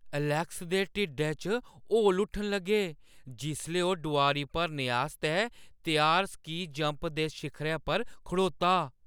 Alex दे ढिड्डै च हौल उट्ठन लगे जिसलै ओह् डोआरी भरने आस्तै त्यार स्की जंप दे शिखरै पर खड़ोता ।